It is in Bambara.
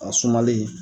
A sumalen